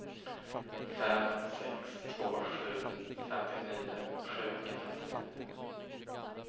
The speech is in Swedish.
fem sex två sju femtionio sjuhundrafemtionio